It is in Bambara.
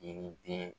Yiriden